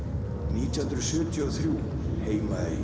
nítján hundruð sjötíu og þrjú Heimaey